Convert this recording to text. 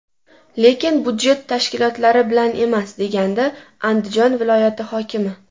Lekin budjet tashkilotlari bilan emas”, degandi Andijon viloyati hokimi.